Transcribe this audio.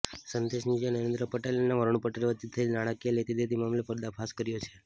સંદેશ ન્યૂઝે નરેન્દ્ર પટેલ અને વરૂણ પટેલ વચ્ચે થયેલી નાણાકીય લેતીદેતી મામલે પર્દાફાશ કર્યો છે